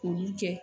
K'olu kɛ